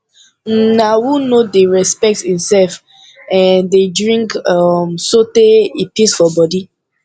um na who no dey respect imself um dey drink um sotee e pis for bodi